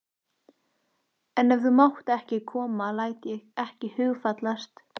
En ef þú mátt ekki koma læt ég ekki hugfallast.